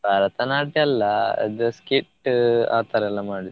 ಭರತನಾಟ್ಯ ಅಲ್ಲ ಅದು skit ಆತರ ಎಲ್ಲ ಮಾಡಿದ್ದು.